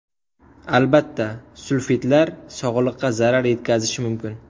Albatta, sulfitlar sog‘liqqa zarar yetkazishi mumkin.